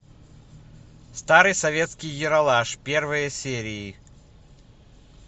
старый советский ералаш первые серии